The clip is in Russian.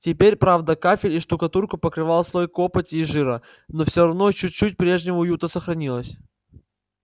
теперь правда кафель и штукатурку покрывал слой копоти и жира но всё равно чуть-чуть прежнего уюта сохранилось